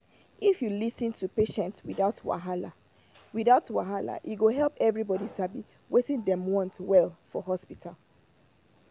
if you fit lis ten to patients without wahala without wahala e go help everybody sabi wetin dem want well for hospital.